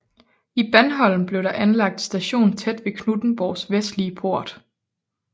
I Bandholm blev der anlagt station tæt ved Knuthenborgs vestlige port